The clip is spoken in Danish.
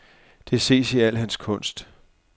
Det ses i al hans kunst.